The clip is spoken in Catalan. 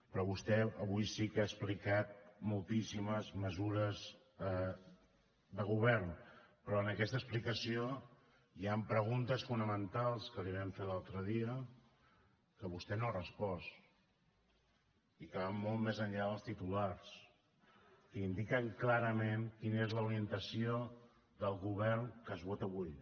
però vostè avui sí que ha explicat moltíssimes mesures de govern però en aquesta explicació hi han preguntes fonamentals que les hi vam fer l’altre dia que vostè no ha respost i que van molt més enllà dels titulars que indiquen clarament quina és l’orientació del govern que es vota avui